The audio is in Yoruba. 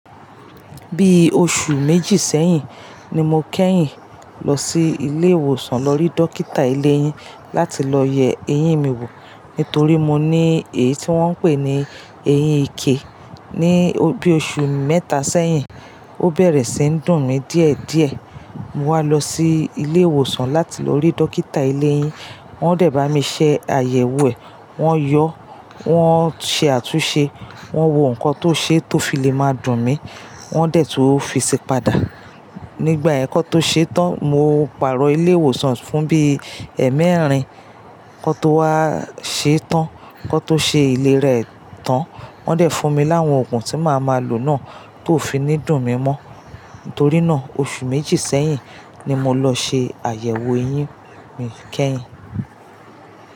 Bí oṣù méjì sẹ́yìn ni mo kẹ́yìn lọ sí ilé ìwòsàn lọ rí dọ́kítà eléyín láti lọ yẹ eyín mi wò nítorí mo ní èyí tí wọ́n ń pè ní eyín ike ní bí oṣù mẹ́ta sẹ́yìn. Ó bẹ̀rẹ̀ sí ń dùn mí díẹ̀díẹ̀. Mo wá lọ sí ilé ìwòsàn láti lọ rí dọ́kítà ilé eyín. Wọn dẹ̀ bá mi ṣe àyẹ̀wò ẹ̀. Wọn yọọ́, wọ́n ṣe àtúnṣe, wọ́n wo nǹkan tó ṣe é tó fi lè máa dùn mí. Wọn dẹ̀ tún fi sí padà. Nígbà yẹn kán tó ṣeé tán, mo pààrọ̀ ilé ìwòsàn fún bí ẹ̀ẹ̀mẹ́rin kán tó wá ṣeé tán, kán tó ṣe ìlera ẹ̀ tán. Wọ́n dẹ̀ fún mi láwọn òògùn tí màá máa lò náà tóò fi ní dùn mí mọ́. Nítorí náà oṣù méjì sẹ́yìn ni mo lọ ṣe àyẹ̀wò eyín mi kẹ́yìn.